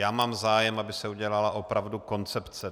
Já mám zájem, aby se udělala opravdu koncepce.